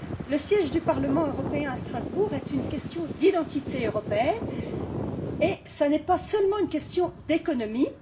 Le siège du Parlement européen à Strasbourg est une question d'identité européenne et pas seulement une question d'économie.